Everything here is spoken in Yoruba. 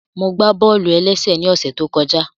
Mo gbá bọ́ọ̀lù-ẹlẹ́sẹ̀ ní ọ̀ṣẹ̀ tó kọjá